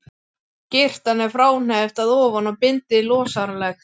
Skyrtan er fráhneppt að ofan og bindið losaralegt.